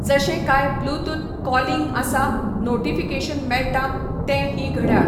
जशें कांय Bluetooth calling आसा, नोटिफिकेशन मेळटा, ते ही घड्याळ